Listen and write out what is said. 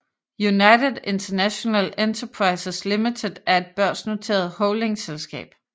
United International Enterprises Limited er et børsnoteret holdingselskab